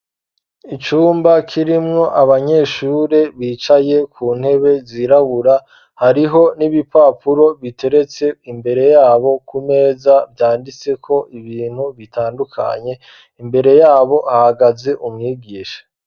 Icumba kirimwo abanyeshure bicaye ku ntebe zirabura ,hariho n'ibipapuro biteretse imbere yabo ku meza vyanditseko ibintu bitandukanye ,imbere yabo hahagaze umwigisha.